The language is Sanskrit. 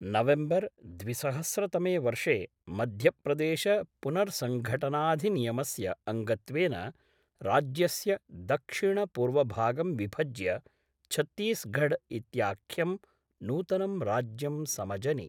नवेम्बर् द्विसहस्रतमे वर्षे मध्यप्रदेशपुनर्सङ्घटनाधिनियमस्य अङ्गत्वेन राज्यस्य दक्षिणपूर्वभागं विभज्य छत्तीसगढ् इत्याख्यं नूतनं राज्यं समजनि।